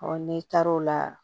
n'i taar'o la